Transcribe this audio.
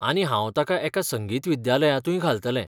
आनी हांव ताका एका संगीत विद्यालयांतूय घालतलें.